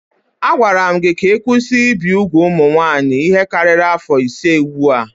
A gwara gị ka ị kwụsị ibi úgwù ụmụ nwaanyị ihe karịrị afọ ise ugbu a.